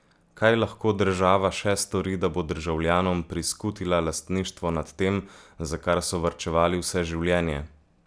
Kaj lahko država še stori, da bo državljanom priskutila lastništvo nad tem, za kar so varčevali vse življenje?